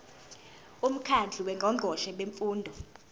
umkhandlu wongqongqoshe bemfundo